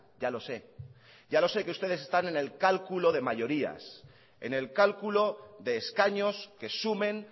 ya lo sé ya lo sé que ustedes están en el cálculo de mayorías en el cálculo de escaños que sumen